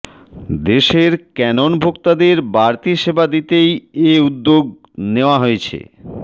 দেশের ক্যানন ভোক্তাদের বাড়তি সেবা দিতেই এ উদ্যোগ নেওয়া হয়েছে